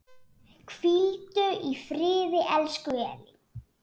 Hvíldu í friði, elsku Elín.